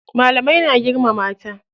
Malamai na girmama ta.